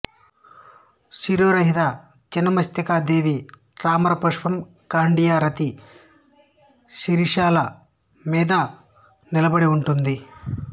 శిరోరహిత చినమస్తికాదేవి తామరపుష్పం కండియో రాతి శరీరాల మీద నిలబడి ఉంటుంది